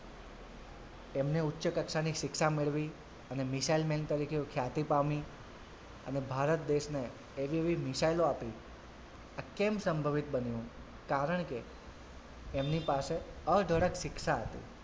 એમને ઉચ્ચ કક્ષાની શિક્ષા મેળવી અને મિશાઈલ men તરીકે ખ્યાતી પામી અને ભારત દેશને એવી એવી મિશાઈલો આપી આ કેમ સંભવિત બન્યું કારણ કે એમની પાસે અઢળક શિક્ષા હતી.